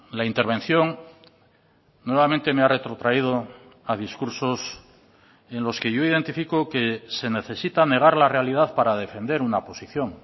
la intervención nuevamente me ha retrotraído a discursos en los que yo identifico que se necesita negar la realidad para defender una posición